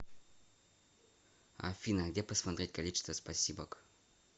афина где посмотреть количество спасибок